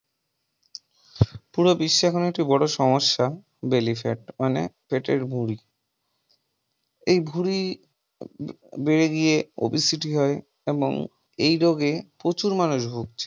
পুরো বিশ্বে এখন এটি একটি বিরাট বড় সমস্যা belly fat মানে পেটের ভুঁড়ি। এই ভুঁড়ি বেড়ে গিয়ে ওবেসিটি হবে এবং এই রোগে প্রচুর মানুষ ভুগছে।